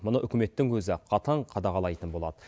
мұны үкіметтің өзі қатаң қадағалайтын болады